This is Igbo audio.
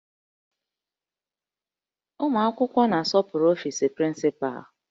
Ụmụ akwụkwọ na-asọpụrụ ọfis prịncịpalụ